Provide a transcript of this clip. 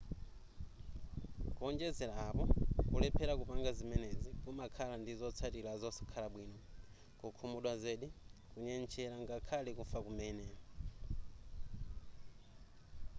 kuonjezera apo kulephera kupanga ziemenezi kumakhala ndi zotsatira zosakhala bwino kukhumudwa zedi kunyentchera ngakhale kufa kumene